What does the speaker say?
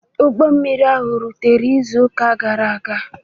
Ụgbọ mmiri ahụ rụtere izu ụka gara aga.